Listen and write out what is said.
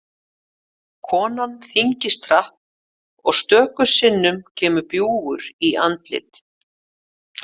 Konan þyngist hratt og stöku sinnum kemur bjúgur í andlit.